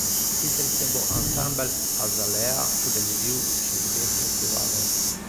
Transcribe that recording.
Sicer se bo ansambel Azalea udeležil še dveh festivalov.